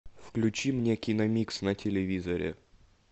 включи мне киномикс на телевизоре